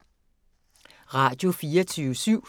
Radio24syv